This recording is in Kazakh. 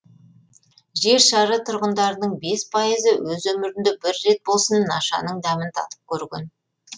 жер шары тұрғындарының бес пайызы өз өмірінде бір рет болсын нашаның дәмін татып көрген